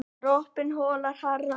Dropinn holar harðan stein.